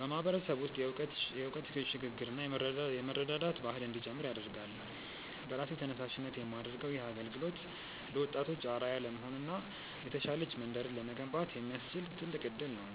በማህበረሰቡ ውስጥ የእውቀት ሽግ ግርና የመረዳዳት ባህል እንዲጨምር ያደርጋል። በራሴ ተነሳሽነት የማደርገው ይህ አገልግሎት ለወጣቶች አርአያ ለመሆንና የተሻለች መንደርን ለመገንባት የሚያስችል ትልቅ እድል ነው።